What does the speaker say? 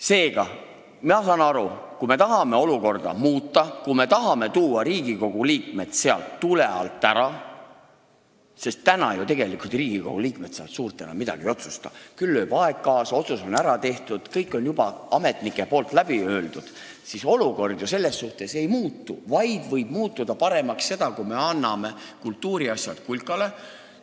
Seega, ma saan aru, kui me tahame olukorda muuta, kui me tahame tuua Riigikogu liikmed sealt tule alt ära – tegelikult ju Riigikogu liikmed seal suurt midagi enam ei otsusta, küll mängib kaasa aeg, otsus on ära tehtud, kõik on juba ametnikel ära öeldud –, siis olukord ju selles suhtes ei muutu, paremaks võib muuta see, kui me anname kultuuriasjad kulkale.